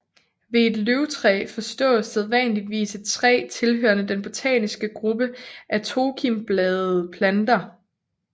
Ved et løvtræ forstås sædvanligvis et træ tilhørende den botaniske gruppe af tokimbladede planter